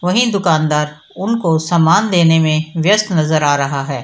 वहीं दुकानदार उनको सम्मान देने में व्यस्त नजर आ रहा है।